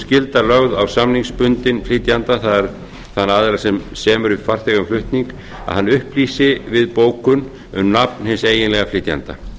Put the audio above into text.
skylda lögð á samningsbundinn flytjanda það er þann aðila sem semur við farþega um flutning að hann upplýsi við bókun um nafn hins eiginlega flytjanda